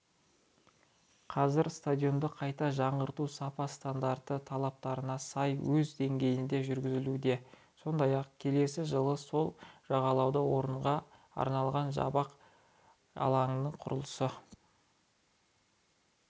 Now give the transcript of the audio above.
қазір стадионды қайта жаңғырту сапа стандарты талаптарына сай өз деңгейінде жүргізілуде сондай-ақ келесі жылы сол жағалауда орынға арналған жабық алаңның құрылысы